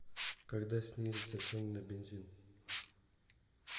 когда снизятся цены на бензин